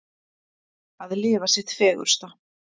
Að lifa sitt fegursta.